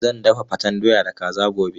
Zan dafa faten doya da kaza gobe.